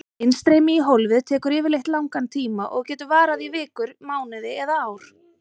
Innstreymi í hólfið tekur yfirleitt langan tíma og getur varað í vikur, mánuði eða ár.